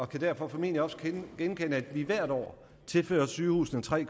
kan derfor formentlig også genkende at vi hvert år tilfører sygehusene tre